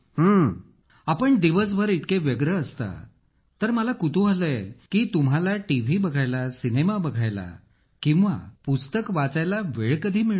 अखिल आपण दिवसभर इतके व्यस्त असता तर मला कुतूहल आहे की तुम्हाला टीव्ही बघायला सिनेमा बघायला किंवा पुस्तक वाचायला वेळ कधी मिळतो